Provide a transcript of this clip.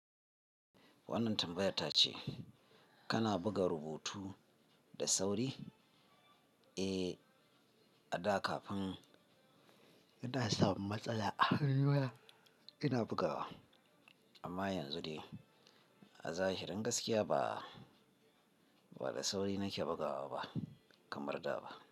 Wannan tambayar ta ce kana buga rubutu da sauri? Eh, a da kafin ina samun matsala a hanuna ina bugawa amma yanzu dai a zahirin gaskiya ba, ba da sauri nake bugawa ba kamar da ba.